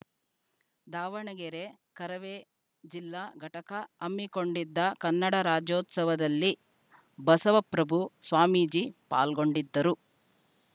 ದಾವಣಗೆರೆ ಕರವೇ ಜಿಲ್ಲಾ ಘಟಕ ಹಮ್ಮಿಕೊಂಡಿದ್ದ ಕನ್ನಡ ರಾಜ್ಯೋತ್ಸವದಲ್ಲಿ ಬಸವಪ್ರಭು ಸ್ವಾಮೀಜಿ ಪಾಲ್ಗೊಂಡಿದ್ದರು